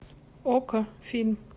окко фильм